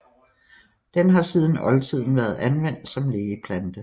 Den har siden oldtiden været anvendt som lægeplante